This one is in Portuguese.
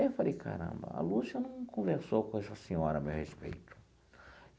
Aí eu falei, caramba, a Lúcia não conversou com essa senhora a meu respeito.